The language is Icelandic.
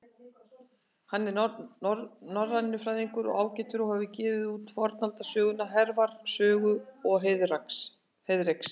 Hann er norrænufræðingur ágætur og hefur gefið út fornaldarsöguna Hervarar sögu og Heiðreks.